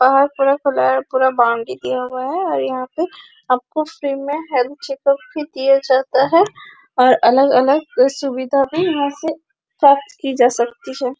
पहाड़ पूरा खुला है पूरा बाउंड्री दिया हुआ है और यहाँ पे आपको फ्री में हेल्थ चेकप भी दिया जाता है और अलग - अलग सुविधा भी यहाँ से प्राप्त की जा सकती है।